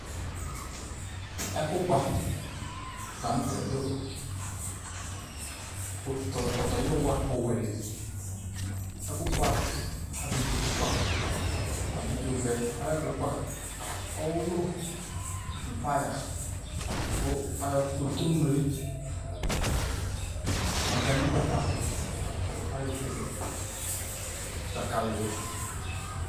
ɛku kpa la nu tɛ du pɔtɔyiwa ɔwɛ li , ɛku kpa abidzo ku kpa , abidzo vɛ ayi ɛku kpa, ɔwulu nu paya, ku ayɔ kotobre, makani gbata la ku ayɔ kele dzakali yɛ